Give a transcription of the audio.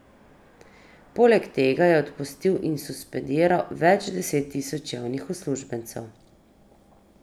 Poleg tega je odpustil in suspendiral več deset tisoč javnih uslužbencev.